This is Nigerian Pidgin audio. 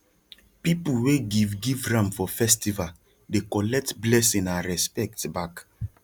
people wey give give ram for festival dey collect blessing and respect back